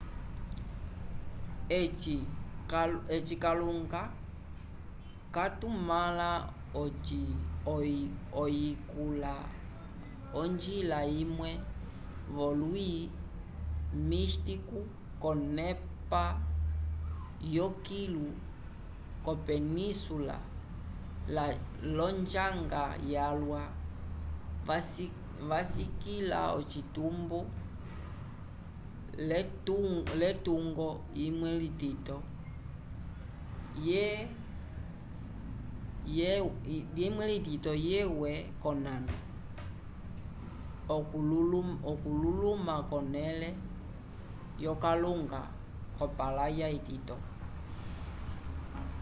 eci kalunga katumãla oyikula onjila imwe v'olwi místico k'onepa yokilu yopensula l'onjanga yalwa vasikĩla ocitumbo l'etungo imwe itito yewe k'onano okululuma k'onẽle yokalunga k'opalaya itito